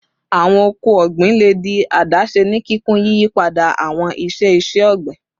Awọn ọkọ ogbin le di adase ni kikun, yiyipada awọn iṣe iṣẹ-ogbin